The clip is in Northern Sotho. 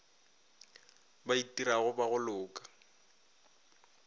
ba itirago ba go loka